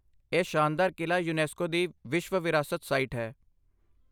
ਇਹ ਸ਼ਾਨਦਾਰ ਕਿਲਾ ਯੂਨੈਸਕੋ ਦੀ ਵਿਸ਼ਵ ਵਿਰਾਸਤ ਸਾਈਟ ਹੈ।